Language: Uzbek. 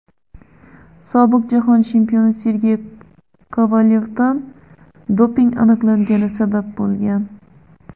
sobiq jahon chempioni Sergey Kovalyovdan doping aniqlangani sabab bo‘lgan.